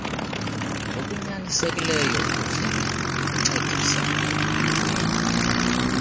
ngokunyanisekileyo ukuncedisa ekuliweni